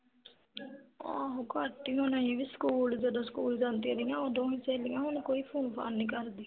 ਆਹੋ ਘੱਟ ਹੀ ਹੋਣਾ ਇਹ ਵੀ ਸਕੂਲ ਜਦੋਂ ਸਕੂਲ ਜਾਂਦੀਆਂ ਰਹੀਆਂ ਉਦੋਂ ਹੀ ਸਹੇਲੀਆਂ ਹੁਣ ਕੋਈ ਫੂਨ-ਫਾਨ ਨੀ ਕਰਦੀਆਂ